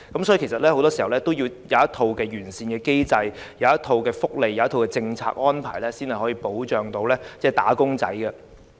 因此，很多時候，也要制訂一套完善機制、福利及政策安排，才能保障"打工仔"。